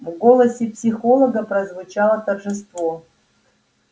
в голосе психолога прозвучало торжество